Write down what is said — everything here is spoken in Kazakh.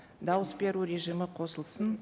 дауыс беру режимі қосылсын